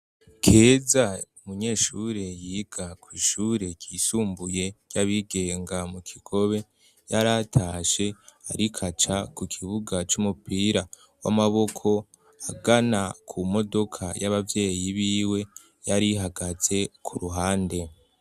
Keza umunyeshure yiga kw'ishure ryisumbuye ryabigenga mu kigobe yaratashe arikaca ku kibuga c'umupira w'amaboko agana ku modoka y'ababyeyi biwe yari hagatse ku ruhande.